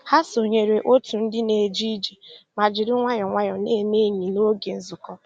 Ha sònyèrè otù ndì na-èjé ìjé mà jìrì nwayọ́ọ́ nwayọ́ọ́ na-èmè ényì n'ógè nzukọ́.